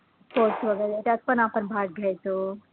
वैगरे त्यात आपण भाग घ्यायचो